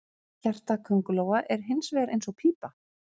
Hjarta köngulóa er hins vegar eins og pípa.